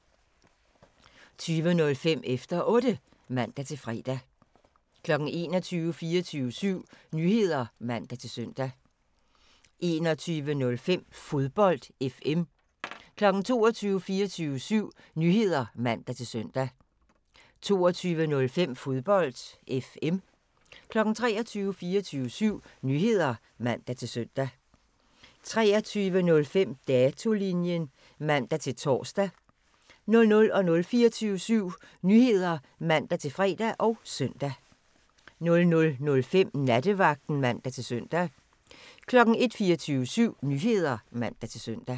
20:05: Efter Otte (man-fre) 21:00: 24syv Nyheder (man-søn) 21:05: Fodbold FM 22:00: 24syv Nyheder (man-søn) 22:05: Fodbold FM 23:00: 24syv Nyheder (man-søn) 23:05: Datolinjen (man-tor) 00:00: 24syv Nyheder (man-fre og søn) 00:05: Nattevagten (man-søn) 01:00: 24syv Nyheder (man-søn)